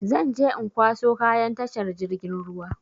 Zan je in kwaso kayan a tashar jirgin ruwa.